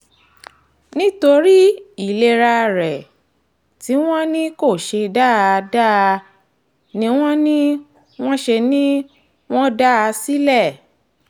nítorí ìlera rẹ̀ tí wọ́n ní kó ṣe dáadáa ni wọ́n ní wọ́n ṣe ni wọ́n dá a sílẹ̀